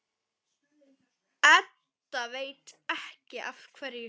Edda veit ekki af hverju.